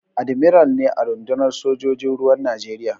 Admiral ne a rundunar sojojin ruwan Najeriya.